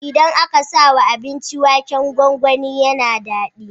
Idan aka sawa abinci waken gwangwani yAna dadi